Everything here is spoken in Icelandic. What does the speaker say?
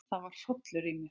Það var hrollur í mér.